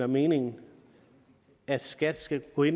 meningen at skat skal kunne